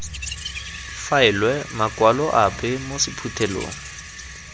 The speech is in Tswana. faelwe makwalo ape mo sephuthelong